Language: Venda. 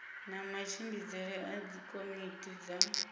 na matshimbidzele a dzikomiti dza